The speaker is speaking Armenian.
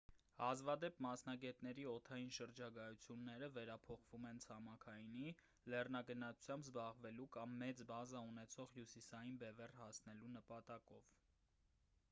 հազվադեպ մասնագետների օդային շրջագայությունները վերափոխվում են ցամաքայինի լեռնագնացությամբ զբաղվելու կամ մեծ բազա ունեցող հյուսիսային բևեռ հասնելու նպատակով